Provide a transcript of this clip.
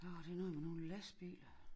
Åh det noget med nogle lastbiler